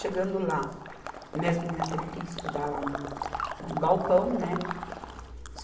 Chegando lá, minhas meninas teve que ir estudar lá no, no galpão, né?